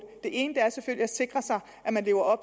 det ene er selvfølgelig at sikre sig at man lever